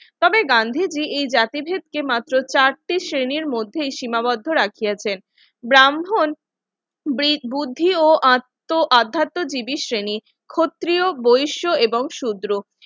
তবে গান্ধীজি এই জাতিভেদকে মাত্র চারটি শ্রেণীর মধ্যেই সীমাবদ্ধ রাখিয়াছেন ব্রাহ্মণ বুদ্ধি ও আত্মজীবী শ্রেণী ক্ষত্রিয় বৈশ্য এবং সূত্র